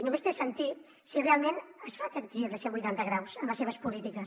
només té sentit si realment es fa aquest gir de cent vuitanta graus en les seves polítiques